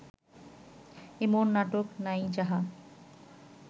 এমন নাটক নাই যাহা